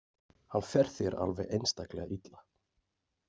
Hann fer þér alveg einstaklega illa.